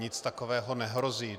Nic takového nehrozí.